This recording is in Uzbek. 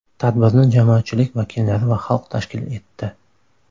Tadbirni jamoatchilik vakillari va xalq tashkil etdi.